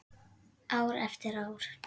Ár eftir ár.